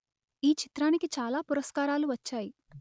ఈ చిత్రానికి చాలా పురస్కారాలు వచ్చాయి